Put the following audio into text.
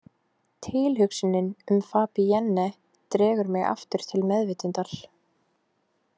Tilhugsunin um Fabienne dregur mig aftur til meðvitundar.